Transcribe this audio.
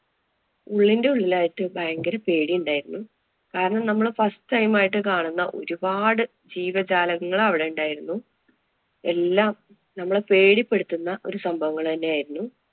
ഉള്ളിന്‍റെ ഉള്ളിലായിട്ട് ഭയങ്കര പേടിയുണ്ടായിരുന്നു. കാരണം നമ്മള് first time ആയിട്ട് കാണുന്ന ഒരുപാട് ജീവജാലങ്ങള്‍ അവിടെയുണ്ടായിരുന്നു. എല്ലാം നമ്മളെ പേടിപ്പെടുത്തുന്ന ഒരു സംഭവങ്ങള് തന്നെയായിരുന്നു.